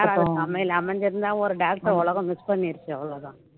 அமைஞ்சிருந்தா ஒரு doctor அ உலகம் miss பண்ணிடுச்சு அவ்வளவுதான்